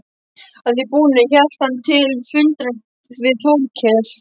Að því búnu hélt hann til fundar við Þórkel.